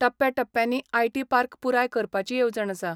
टप्प्याटप्प्यानी IT park पुराय करपाची येवजण आसा.